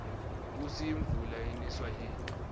kusi imvula iniswa yini